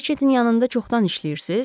Reçetin yanında çoxdan işləyirsiz?